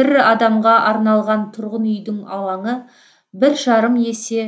бір адамға арналған тұрғын үйдің алаңы бір жарым есе